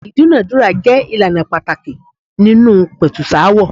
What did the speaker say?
Ìdúnàándúrà jẹ́ ìlànà pàtàkì nínú ìpẹ̀tùsááwọ̀.